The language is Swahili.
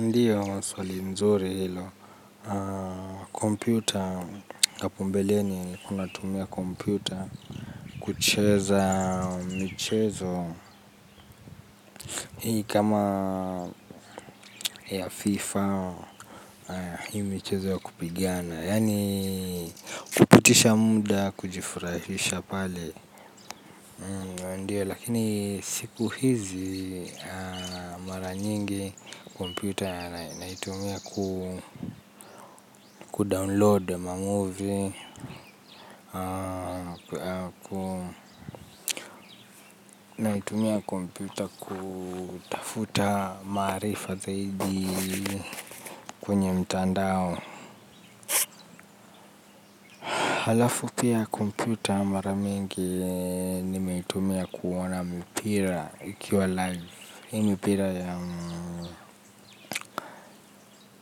Ndiyo maswali mzuri hilo, kompyuta hapo mbeleni nilikuwa tumia kompyuta kucheza mchezo. Hii kama ya fifa hii michenzo ya kupigiana, yani kupitisha muda kujifurahisha pale. Hee ndio lakini siku hizi mara nyingi kompyuta ya naitumia kudownload mamovie. Naitumia kompyuta kufuta marifa zaidi kwenye mtandao halafu pia komputa ya mara mingi nimeitumia kuona mpira ikiwa live hii mpira ya